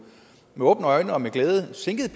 med åbne øjne og med glæde sænkede